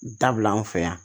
Dabila an fɛ yan